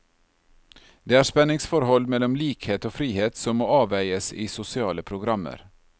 Det er spenningsforhold mellom likhet og frihet som må avveies i sosiale programmer.